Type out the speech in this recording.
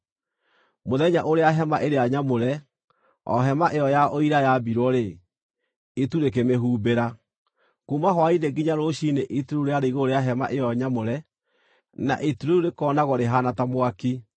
Mũthenya ũrĩa Hema-ĩrĩa-Nyamũre, o Hema-ĩyo-ya-Ũira yaambirwo-rĩ, itu rĩkĩmĩhumbĩra. Kuuma hwaĩ-inĩ nginya rũciinĩ itu rĩu rĩarĩ igũrũ rĩa Hema-ĩyo-Nyamũre na itu rĩu rĩkoonagwo rĩhaana ta mwaki.